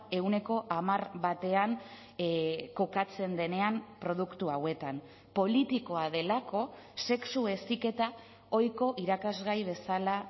ehuneko hamar batean kokatzen denean produktu hauetan politikoa delako sexu heziketa ohiko irakasgai bezala